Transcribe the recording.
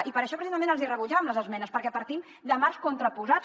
i per això precisament els hi rebutjàvem les esmenes perquè partim de marcs contraposats